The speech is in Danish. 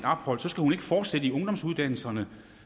ophold skal hun ikke fortsætte i ungdomsuddannelserne